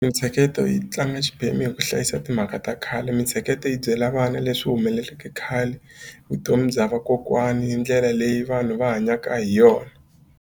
Mitsheketo yi tlanga xiphemu hi ku hlayisa timhaka ta khale mitsheketo yi byela vana leswi humeleleke khale vutomi bya vakokwani ni ndlela leyi vanhu va hanyaka hi yona.